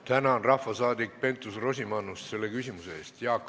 Tänan, rahvasaadik Keit Pentus-Rosimannus, selle küsimuse eest!